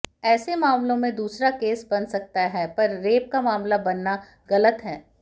ऐसे मामलों में दूसरा केस बन सकता है पर रेप का मामला बनना गलत है